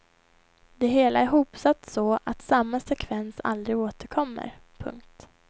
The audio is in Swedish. Det hela är hopsatt så att samma sekvens aldrig återkommer. punkt